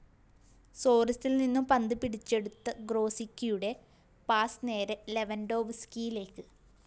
സോറസില്‍നിന്നും പന്ത് പിടിച്ചെടുത്ത ഗ്രോസിക്കിയുടെ പാസ്‌ നേരെ ലെവന്‍ഡോവ്‌സ്‌കിയിലേക്ക്